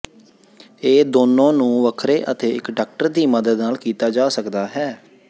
ਇਹ ਦੋਨੋ ਨੂੰ ਵੱਖਰੇ ਅਤੇ ਇੱਕ ਡਾਕਟਰ ਦੀ ਮਦਦ ਨਾਲ ਕੀਤਾ ਜਾ ਸਕਦਾ ਹੈ